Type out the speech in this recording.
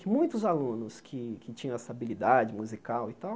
Que muitos alunos que que tinham essa habilidade musical e tal,